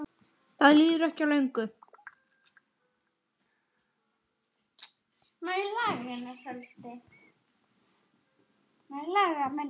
Það líður ekki á löngu.